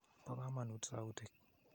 Po kamanut sautik.